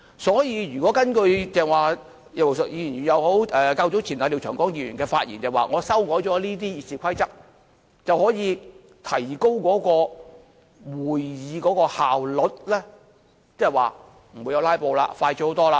所以如果根據剛才葉劉淑儀議員或較早前廖長江議員的發言，指出修改了《議事規則》後，便可以提高會議的效率，即是不會有"拉布"，程序快捷得多。